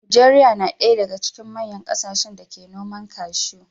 Najeriya na ɗaya daga cikin manyan kasashen da ke noman cashew.